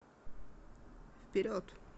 вперед